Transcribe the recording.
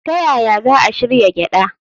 Ta yaya za a shirya gyada?